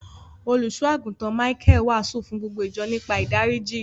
Òlúsọ̀agùntán Míchael wáásù fún gbogbo ìjọ̀ nípa ìdáriji.